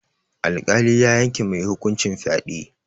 Alƙali ya yanke mai hukuncin fyaɗe.